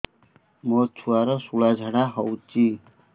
ମୋ ଛୁଆର ସୁଳା ଝାଡ଼ା ହଉଚି